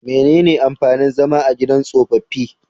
Menene amfanin zama a gidan tsofaffi?